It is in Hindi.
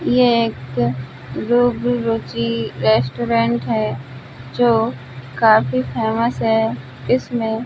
यहाँ एक रोग रुचि रेस्टोरेंट है जो काफी फेमस है इसमें --